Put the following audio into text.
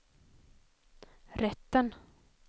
rätten